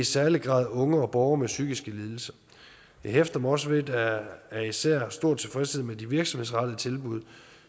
særlig grad unge og borgere med psykiske lidelser jeg hæfter mig også ved at der især er stor tilfredshed med de virksomhedsrettede tilbud